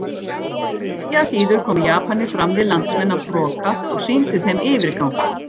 Eigi að síður komu Japanir fram við landsmenn af hroka og sýndu þeim yfirgang.